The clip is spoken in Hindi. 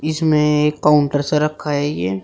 इसमें एक काउंटर सा रखा है ये--